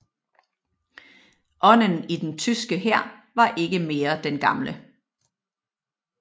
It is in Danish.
Ånden i den tyske hær var ikke mere den gamle